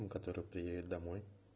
ну который приедет домой